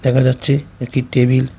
দেখা যাচ্ছে একটি টেবিল ।